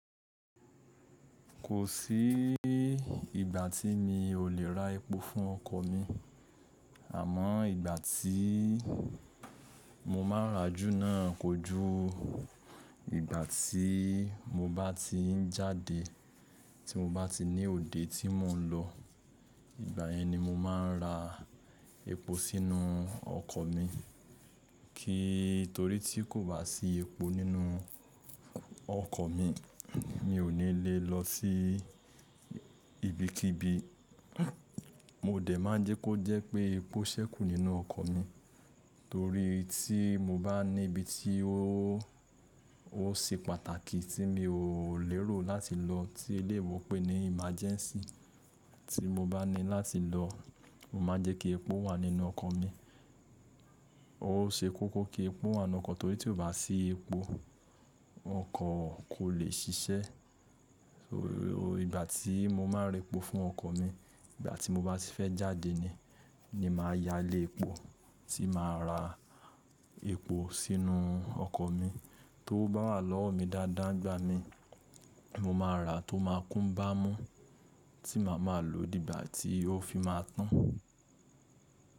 Kò sí ìgbà tí mi ò lè ra epo fún ọkọ̀ mi. Àmọ́ ìgbà tí mo máa rà á jù náà kọjú ìgbà tí mo bá ti ń jáde, tí mo bá ti ní òde tí mò ń lọ. Ìgbà yẹn ni mo máa ń ra epo sínú ọkọ̀ mi. Torí tí kò bá sí epo nínú ọkọ̀ mi mi ò ní le lọ sí ibikíbi. Mo dẹ̀ máa jẹ́ kó jẹ́ pé epo ṣẹ́kù nínú ọkọ̀ mi. Torí tí mo bá ní ibi tí ó, ó ṣe pàtàkì tí mi ò lérò láti lọ tí elèyibo pé ní emergency tí mo bá ní láti lọ, mo máa jẹ́ kí epo wà nínú ọkọ̀ mi. Ó ṣe kókó kí epo wà nínú ọkọ̀ torí tí kò bá sí epo, ọkọ̀ kò lè ṣiṣẹ́. Ìgbà tí mo máa n ra epo fún ọkọ̀ mi, ìgbà tí mo bá ti fẹ́ jáde ni, ni màá ya lé epo tí màá ra. Epo sínú ọkọ̀ mi. Tówo bá wà lọ́wọ́ mi dáadáa ngba mi, mo máa ra tó máa kún bá mú tí màá máa lò dígbà tí ó fi máa tán.